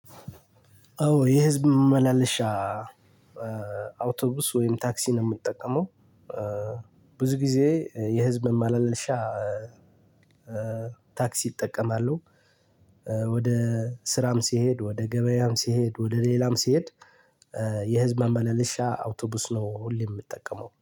አዎ የህዝብ ማመላለሻ አውቶቡስ ወይም ታክሲ ነው የምጠቀመው። ብዙ ጊዜ የህዝብ መማለልሻ ታክሲ እጠቀማሉ። ወደ ስራም ሲሄድ ወደ ገበያም ሲሄድ ወደ ሌላም ሲሄድ። የህዝብ ማመላለሻ አውቶቡስ ነው ሁሌ የምጠቀመው